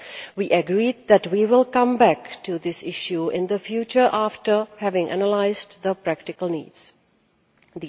We agreed that we would come back to this issue in the future after having analysed the practical needs in this respect.